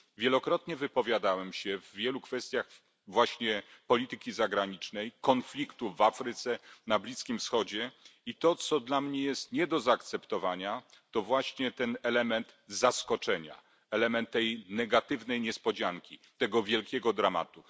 Wielokrotnie wypowiadałem się w wielu kwestiach dotyczących właśnie polityki zagranicznej, konfliktów w Afryce, na Bliskim Wschodzie i to, co dla mnie jest nie do zaakceptowania, to właśnie ten element zaskoczenia, element tej negatywnej niespodzianki, tego wielkiego dramatu.